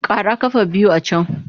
Ƙara ƙafa biyu a can!